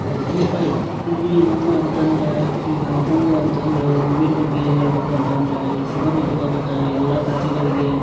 ಇದು ಹೂ ಅಂತ ಅಂದ್ರೆ ಈಗ ಹೂ ಅಂತ ಅಂದ್ರೆ ಹೂವಿನ್ ಬಗ್ಗೆ ಹೇಳಬೇಕಂತಂನ್ ಅಂದ್ರೆ ಇದು ಸುಗಮಿತವಾದಂತ ಎಲ್ಲಾ ಕಾರ್ಯಗಳಿಗೆ.